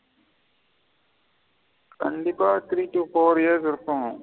கண்டிப்பா three to four years இருக்கும்.